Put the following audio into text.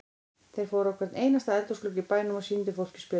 Þeir fóru á hvern einasta eldhúsglugga í bænum og sýndu fólki spjöldin.